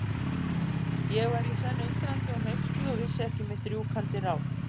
Ég var í senn undrandi og hneyksluð og vissi ekki mitt rjúkandi ráð.